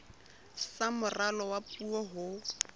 sa moralo wa puo ho